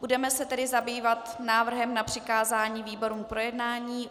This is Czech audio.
Budeme se tedy zabývat návrhem na přikázání výborům k projednání.